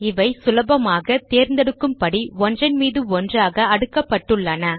இவை சுலபமாகத் தேர்ந்தெடுக்கும்படி ஒன்றன் மீது ஒன்றாக அடுக்கப்பட்டுள்ளன